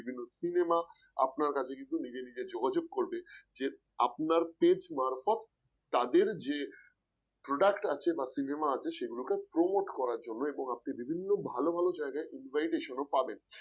বিভিন্ন cinema আপনার কাছে কিন্তু নিজে নিজে যোগাযোগ করবে যে আপনার page মারফত তাদের যে product আছে বা cinema আছে সেগুলোকে promote করার জন্য এবং আপনি বিভিন্ন ভালো ভালো জায়গায় invitation ও পাবেন।